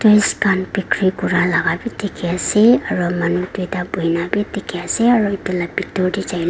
khan bikuri kuria laga bi dikhi ase aro manu duita bhunia bi dikhi ase aro itu laga bitor teh jaile.